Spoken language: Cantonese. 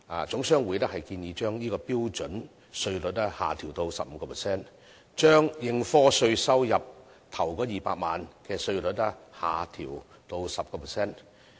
總商會也建議把這方面的標準稅率下調至 15%， 把應課稅收入首200萬元的稅率下調至 10%。